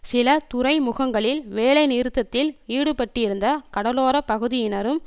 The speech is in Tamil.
சில துறைமுகங்களில் வேலைநிறுத்தத்தில் ஈடுபட்டிருந்த கடலோர பகுதியினரும்